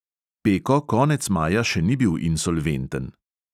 Peko konec maja še ni bil insolventen.